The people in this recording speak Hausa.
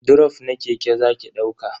Drof na keke zaki dauka?